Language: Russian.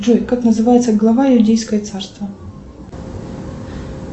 джой как называется глава иудейское царство